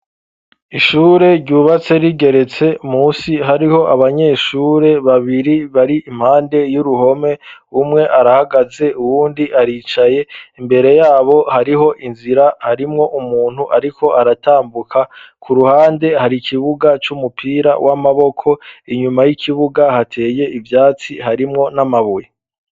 Ishure ryubatse rigeretse musi hariho abanyeshure babiri bari impande y'uruhome umwe arahagaze uwundi aricaye imbere yabo hariho inzira harimwo umuntu ariko aratambuka ku ruhande hari ikibuga c'umupira w'amaboko inyuma y'ikibuga hateye ivyatsi harimwo n'amabuye.